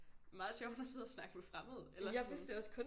Meget sjovt at sidde og snakke med fremmede eller sådan